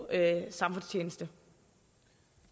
altså